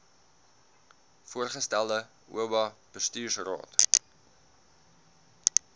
voorgestelde oba bestuursraad